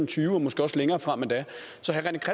tyve og måske også længere frem endda